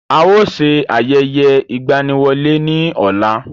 A ó ṣe ayẹyẹ ìgbaniwọlé ní ọ̀la.